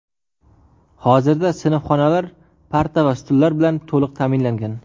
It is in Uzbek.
Hozirda sinfxonalar parta va stullar bilan to‘liq ta’minlangan.